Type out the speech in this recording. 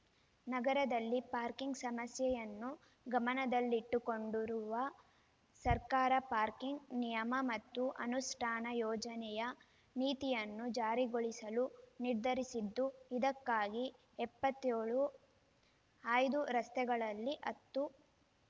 ನಗರದಲ್ಲಿ ಪಾರ್ಕಿಂಗ್ ಸಮಸ್ಯೆಯನ್ನು ಗಮನದಲ್ಲಿಟ್ಟುಕೊಂಡಿರುವ ಸರ್ಕಾರ ಪಾರ್ಕಿಂಗ್ ನಿಯಮ ಮತ್ತು ಅನುಷ್ಠಾನ ಯೋಜನೆಯ ನೀತಿಯನ್ನು ಜಾರಿಗೊಳಿಸಲು ನಿರ್ಧರಿಸಿದ್ದು ಇದಕ್ಕಾಗಿ ಎಪ್ಪತ್ತ್ಯೋಳು ಆಯ್ದ ರಸ್ತೆಗಳಲ್ಲಿ ಹತ್ತು